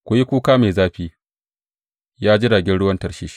Ku yi kuka mai zafi, ya jiragen ruwan Tarshish!